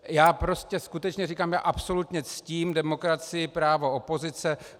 Já prostě skutečně říkám, já absolutně ctím demokracii, právo opozice.